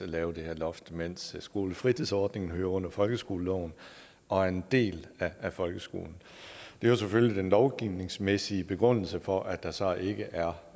lave det her loft mens skolefritidsordninger hører under folkeskoleloven og er en del af folkeskolen det er jo selvfølgelig den lovgivningsmæssige begrundelse for at der så ikke er